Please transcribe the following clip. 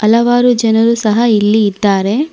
ಹಲವಾರು ಜನರು ಸಹ ಇಲ್ಲಿ ಇದ್ದಾರೆ.